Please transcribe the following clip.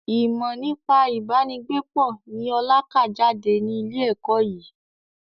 Ìmọ nípa ibà ni gbé pọ̀ ni ọ̀la ká jáde ní ilé ẹ̀kọ́ yìí